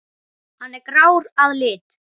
Hann er grár að lit.